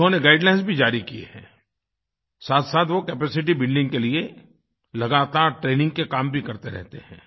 उन्होंने गाइडलाइन्स भी जारी किये हैं साथसाथ वो कैपेसिटी बिल्डिंग के लिए लगातार ट्रेनिंग के काम भी करते रहते हैं